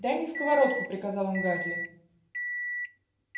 дай мне сковородку приказал он гарри